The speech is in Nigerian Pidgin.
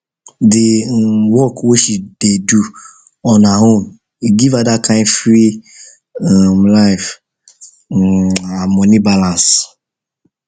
d um work way she dey do on her own e give her that kind free um life um and money balance